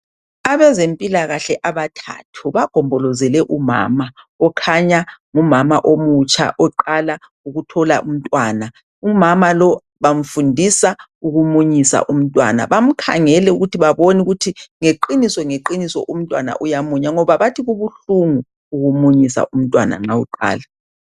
Abezempilakahle abathathu bagombolozele umama okhanya ngumama omutsha oqala ukuthola umntwana , umama lo bamfundisa ukumunyisa umntwana bam'khangele ukuthi babone ukuthi ngeqiniso ngeqiniso umntwana uyamunya ngoba bathi kubuhlungu ukumunyisa umntwana nxa uqala.